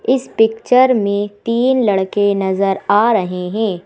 इस पिक्चर में तीन लड़के नजर आ रहे हैं।